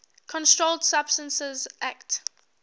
controlled substances acte